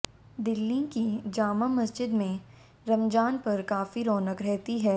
दिल्ली की जामा मस्जिद में रमजान पर काफी रौनक रहती है